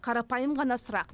қарапайым ғана сұрақ